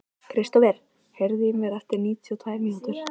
Kristofer, heyrðu í mér eftir níutíu og tvær mínútur.